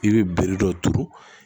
I bɛ bere dɔ turu